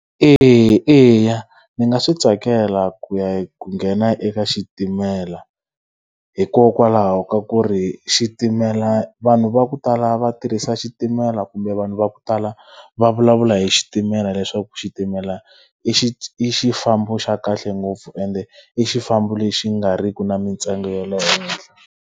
Eya, eya ni nga swi tsakela ku ya ku nghena eka xitimela hikokwalaho ka ku ri xitimela vanhu va ku tala va tirhisa xitimela kumbe vanhu va ku tala va vulavula hi xitimela leswaku, xitimela i xifambo xa kahle ngopfu ende i xifambo lexi nga ri ki na mintsengo ya le henhla.